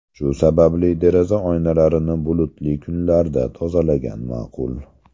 Shu sababli, deraza oynalarini bulutli kunlarda tozalagan ma’qul.